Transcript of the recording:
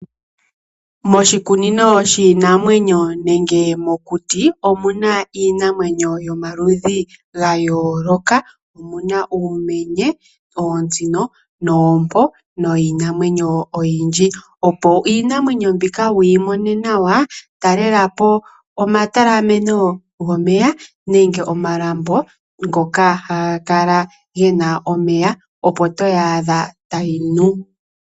Moshikunino shiinamwenyo nenge mokuti, omuna iinamwenyo yo maludhi ga yooloka. Omuna uumenye, oontsino, oompo niinamwenyo oyindji. Opo iinamwenyo mbika wuyi mone nawa, talela po omatalameno gomeya nenge omalambo ngoka haga kala gena omeya opo toyi adha tayi nu.